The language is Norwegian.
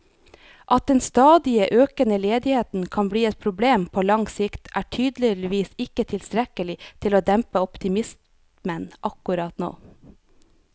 At den stadig økende ledigheten kan bli et problem på lang sikt, er tydeligvis ikke tilstrekkelig til å dempe optimismen akkurat nå.